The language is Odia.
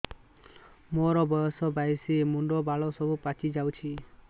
ମୋର ବୟସ ବାଇଶି ମୁଣ୍ଡ ବାଳ ସବୁ ପାଛି ଯାଉଛି